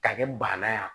Ka kɛ banna ye